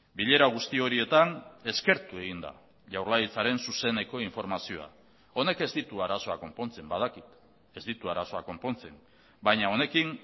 bilera guzti horietan eskertu egin da jaurlaritzaren zuzeneko informazioa honek ez ditu arazoak konpontzen badakit ez ditu arazoak konpontzen baina honekin